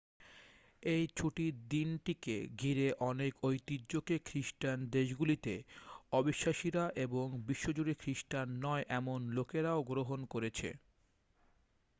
এই ছুটির দিনটিকে ঘিরে অনেক ঐতিহ্যকে খ্রিস্টান দেশগুলিতে অবিশ্বাসীরা এবং বিশ্বজুড়ে খ্রিস্টান নয় এমন লোকেরাও গ্রহণ করেছে